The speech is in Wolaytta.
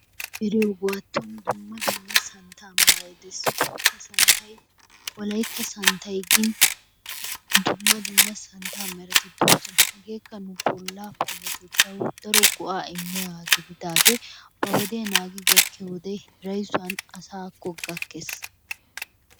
Eriyoogaaton dumma dumma santtaa meray dees. Ha santtay wolaytta santtay gin dumma dumma santta merati dees. Hegeekka nu bollaa payatettawu daro go'aa immiyaagaa gididaagee ba wodiya naagi gakkiyoode hirayssuwan asaakko gakkees.